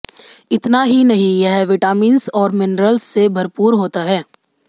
इतना ही नहीं यह विटामिंस और मिनरल्स से भरपूर होता है